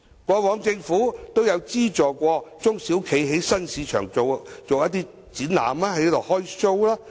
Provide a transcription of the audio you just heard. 過往政府都有資助中小企在新市場做一些展覽，"開 show"。